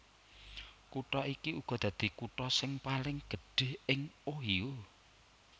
Kutha iki uga dadi kutha sing paling gedhé ing Ohio